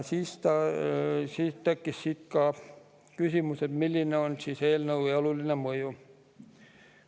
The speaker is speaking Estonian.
Siis tekkis küsimus, milline on eelnõu oluline mõju.